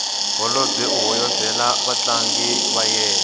holobye u hoyozela vatlangi va yena